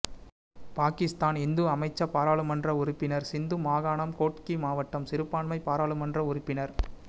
பாகிஸ்தான் இந்து அமைச்சபாராளுமன்ற உறுப்பின சிந்து மாகாணம் கோட்கி மாவட்டம் சிறுபான்மை பாராளுமன்ற உறுப்பின